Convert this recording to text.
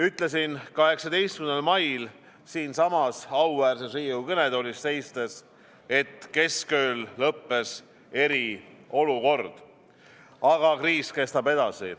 Ütlesin 18. mail siinsamas auväärses Riigikogu kõnetoolis seistes, et keskööl lõppes eriolukord, aga kriis kestab edasi.